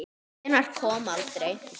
Hvenær kom aldrei.